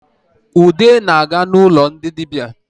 Ude na-aga n’ụlọ ndị dịbia